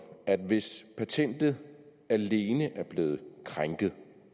at hvis patentet alene er blevet krænket